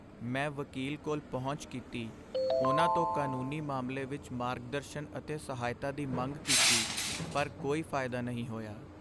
ਮੈਂ ਵਕੀਲ ਕੋਲ ਪਹੁੰਚ ਕੀਤੀ, ਉਨ੍ਹਾਂ ਤੋਂ ਕਾਨੂੰਨੀ ਮਾਮਲੇ ਵਿੱਚ ਮਾਰਗਦਰਸ਼ਨ ਅਤੇ ਸਹਾਇਤਾ ਦੀ ਮੰਗ ਕੀਤੀ, ਪਰ ਕੋਈ ਫਾਇਦਾ ਨਹੀਂ ਹੋਇਆ!